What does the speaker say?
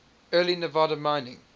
early nevada mining